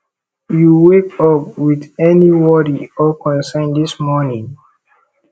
you wake up with any worry or concern dis morning